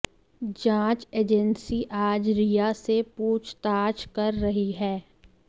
जांच एजेंसी आज रिया से पूछताछ कर रही है